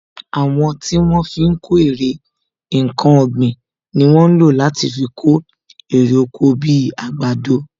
Àwọn tí wọ́n fi ń kó èrè nkan ọ̀gbìn ni wọ́n ń lò láti fi kó èrè oko bi àgbàdo